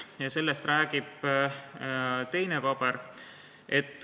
Ja sellest räägib teine paber.